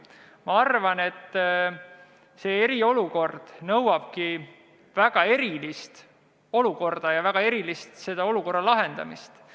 Ma arvan, et see eriolukord nõuabki väga erilist olukorda ja väga erilist olukorra lahendamist.